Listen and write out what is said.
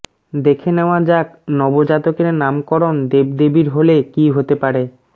দেখে নেওয়া যাক নবজাতকের নামকরণ দেবদেবীর হলে কি হতে পারে